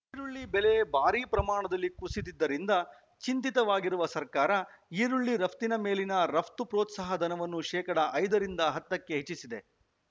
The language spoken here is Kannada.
ಈರುಳ್ಳಿ ಬೆಲೆ ಭಾರಿ ಪ್ರಮಾಣದಲ್ಲಿ ಕುಸಿದಿದ್ದರಿಂದ ಚಿಂತಿತವಾಗಿರುವ ಸರ್ಕಾರ ಈರುಳ್ಳಿ ರಫ್ತಿನ ಮೇಲಿನ ರಫ್ತು ಪ್ರೋತ್ಸಾಹಧನವನ್ನು ಶೇಕಡಾ ಐದರಿಂದ ಹತ್ತಕ್ಕೆ ಹೆಚ್ಚಿಸಿದೆ